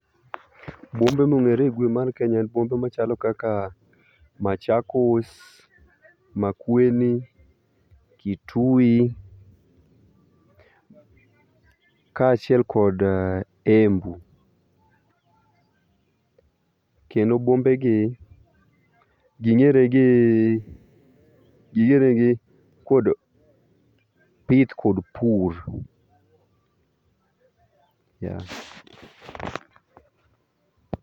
Bombe mong'ere igwe mar Kenya en bombe machalo kaka, Machakos, Makueni, Kitui ka achiel kood Embu. Kendo bombegi gi ng'ere gii ging'eregi kod pith kod pur yea.